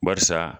Barisa